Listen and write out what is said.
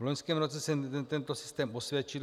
V loňském roce se tento systém osvědčil.